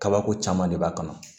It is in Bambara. Kabako caman de b'a kɔnɔ